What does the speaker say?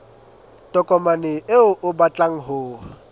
tokomane eo o batlang ho